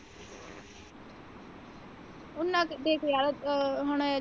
ਉਹਨਾ ਕ ਦੇਖ ਯਾਰ ਅਹ ਹੁਣ।